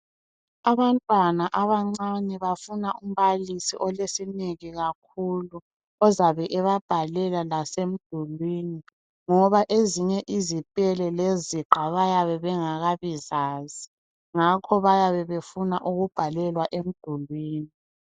Abantwana abancane bafuna umbalisi olesineke ozabe ebabhalela lasemdulwini ngaba ezinye izipele leziqa bayabe bengakabi zazi ngakho bayabe befuna ukubhalelwa emdulwini